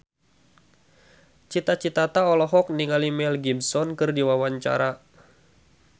Cita Citata olohok ningali Mel Gibson keur diwawancara